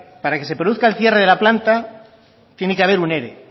para que se produzca el cierre de la planta tiene que haber un ere